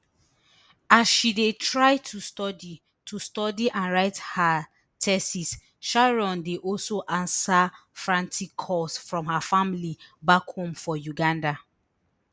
as she dey try to study to study and write her thesis sharon dey also answer frantic calls from her family back home for uganda